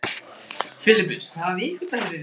Filippus, hvaða vikudagur er í dag?